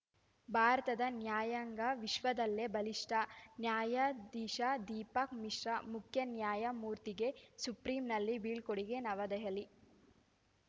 ಭಾರತದ ನ್ಯಾಯಾಂಗ ವಿಶ್ವದಲ್ಲೇ ಬಲಿಷ್ಠ ನ್ಯಾದಿಶಾ ದೀಪಕ್‌ ಮಿಶ್ರಾ ಮುಖ್ಯ ನ್ಯಾಯಮೂರ್ತಿಗೆ ಸುಪ್ರೀಂನಲ್ಲಿ ಬೀಳ್ಕೊಡುಗೆ ನವದೆಹಲಿ